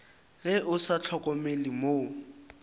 ge o sa hlokomele mo